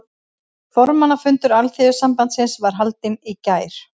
Formannafundur Alþýðusambandsins var haldinn í gær